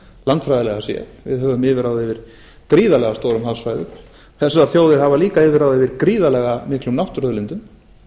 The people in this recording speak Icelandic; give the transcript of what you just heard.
landfræðilega séð við höfum yfirráð yfir gríðarlega stórum hafsvæðum þessar þjóðir hafa líka yfirráð yfir gríðarlega miklum náttúruauðlindum